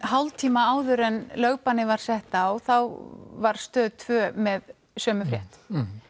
hálftíma áður en lögbannið var sett á var Stöð tvö með sömu frétt